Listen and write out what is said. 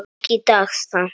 Ekki í dag samt.